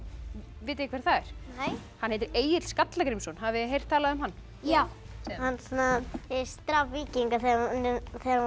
vitið þið hver það er nei hann heitir Egill skalla Grímsson hafið þið heyrt talað um hann já hann drap víkinga þegar hann var